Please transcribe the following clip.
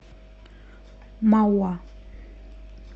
мауа